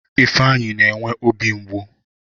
Ifeanyi na-enwe obi mgbu